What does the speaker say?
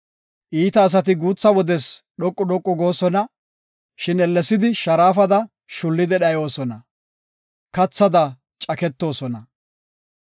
Iita asati guutha wodes dhoqu dhoqu goosona; shin ellesidi sharaafada shullidi dhayoosona; kathada caketoosona.